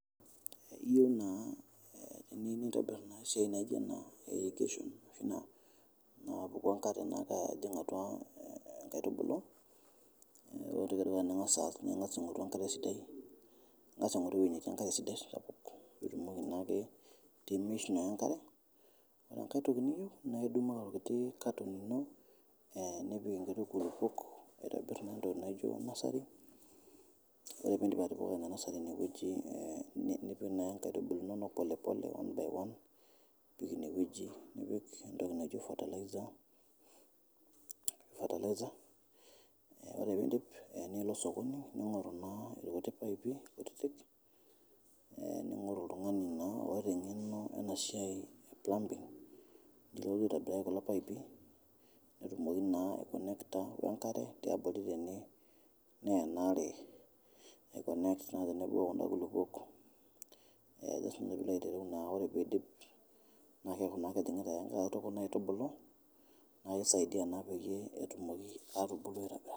Aiya naa enikintobir naa siai naa ijo ekishun naapuku enkare aya atua aitubulu, ore ningas aas ningas aing'oru enkare sidai ningas aing'oru weji natii enkare sidai piitumoki naake pimiishu naa enkare, ore enkae toki niyeu naa idumu enkiti carton ino nipik nkiti kulupok aitibir entoki naji nursery ore piindip atipika ina nursery ine weji nipik naa nkaitubul inono polepole one by one apik ine weji, nipik ntoki naji fertiliser ore piindip nilo soko ino ning'oru naa lkuti paipi ning'oru oltungani naa oota eng'eno ena siai e plumbing pelotu oitobirai kulo paipi peetumoki naa aikonekta o nkare te abori tene neya anaare aikonekt naa tenebo o kuna kulupok teshumata eitereu naa ore peidip paa keaku naa kejing'ita alotu aitubulu naa keisaidia naa peye etumoki atubulu aikoja